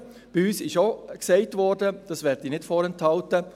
Natürlich wurde bei uns auch gesagt, das möchte ich nicht vorenthalten: